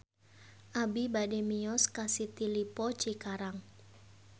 Abi bade mios ka City Lippo Cikarang